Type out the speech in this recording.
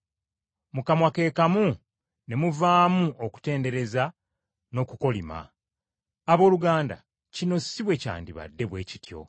Mu kamwa ke kamu ne muvaamu okutendereza n’okukolima. Abooluganda, kino si bwe kyandibadde bwe kityo!